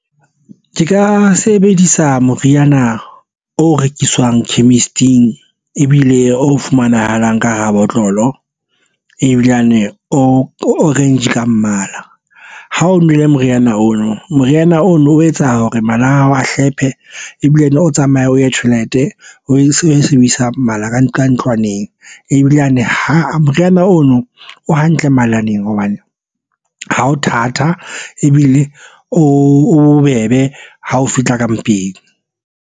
Ke ka sebedisa moriana o rekiswang chemist-ing ebile o fumanahalang ka hara botlolo ebilane o orange ka mmala. Ha o nwele moriana ono moriana o etsa hore mala ao a hlonephe ebile o tsamaye o ye tjhelete o e sebedisang mmala ka nqa ntlwaneng ebile yane ho moriana ono o hantle mabalaneng hobane ha o thata ebile o bobebe ha o fitlha ka mpeng.